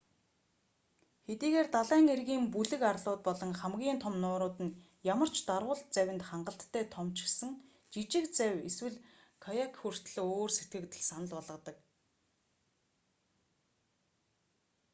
хэдийгээр далайн эргийн бүлэг арлууд болон хамгийн том нуурууд нь ямар ч дарвуулт завинд хангалттай том ч гэсэн жижиг завь эсвэл каяк хүртэл өөр сэтгэгдэл санал болгодог